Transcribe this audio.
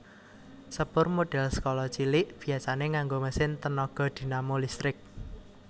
Sepur modèl skala cilik biasané nganggo mesin tenaga dinamo listrik